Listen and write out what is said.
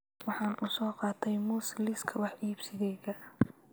Waxaan u soo qaatay muus liiska wax iibsigayga